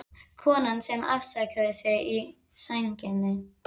Konan sem afsakaði sig í sænginni